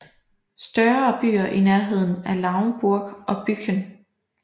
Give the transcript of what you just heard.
Større byer i nærheden er Lauenburg og Büchen